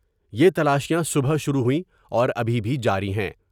یہ تلاشیاں صبح شروع ہوئیں اور ابھی بھی جاری ہیں ۔